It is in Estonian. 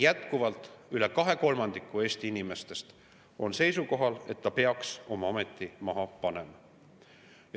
Jätkuvalt rohkem kui kaks kolmandikku Eesti inimestest on seisukohal, et ta peaks oma ameti maha panema.